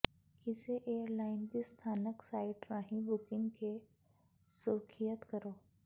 ਕਿਸੇ ਏਅਰਲਾਈਨ ਦੀ ਸਥਾਨਕ ਸਾਈਟ ਰਾਹੀਂ ਬੁਕਿੰਗ ਕੇ ਸੁਰੱਖਿਅਤ ਕਰੋ